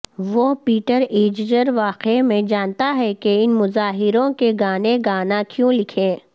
وہ پیٹر ایججر واقعی میں جانتا ہے کہ ان مظاہروں کے گانے گانا کیوں لکھیں